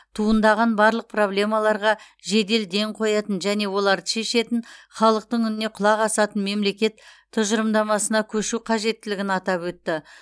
туындаған барлық проблемаларға жедел ден қоятын және оларды шешетін халықтың үніне құлақ асатын мемлекет тұжырымдамасына көшу қажеттілігін атап өтті